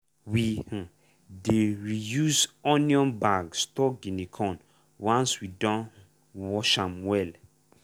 we um dey reuse onion bag store guinea corn once we don um wash am well.